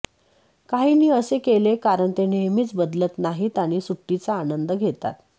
काहींनी असे केले कारण ते नेहमीच बदलत नाहीत आणि सुट्टीचा आनंद घेतात